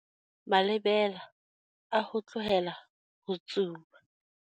Malebela a ho tlohela ho tsuba.